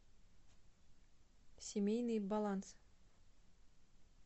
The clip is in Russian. семейный баланс